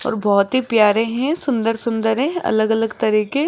और बहोत ही प्यारे हैं सुंदर सुंदर हैं अलग अलग तरीके--